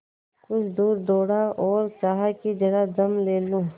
कुछ दूर दौड़ा और चाहा कि जरा दम ले लूँ